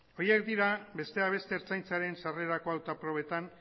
horiek dira besteak beste ertzaintzaren sarrerako hautaprobetan